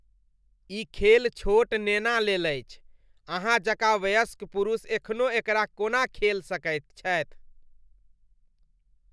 ई खेल छोट नेना लेल अछि। अहाँ जकाँ वयस्क पुरुष एखनो एकरा कोना खेल सकैत छथि?